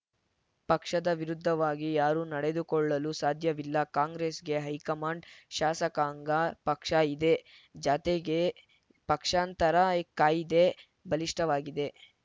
ಪಕ್ಷದ ವಿರುದ್ಧವಾಗಿ ಯಾರೂ ನಡೆದುಕೊಳ್ಳಲು ಸಾಧ್ಯವಿಲ್ಲ ಕಾಂಗ್ರೆಸ್‌ಗೆ ಹೈಕಮಾಂಡ್‌ ಶಾಸಕಾಂಗ ಪಕ್ಷ ಇದೆ ಜತೆಗೆ ಪಕ್ಷಾಂತರ ಕಾಯಿದೆ ಬಲಿಷ್ಠವಾಗಿದೆ